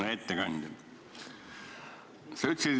Hea ettekandja!